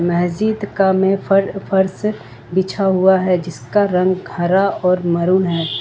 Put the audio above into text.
महजिद का में फर फर्श बिछा हुआ है जिसका रंग हरा और मरून है।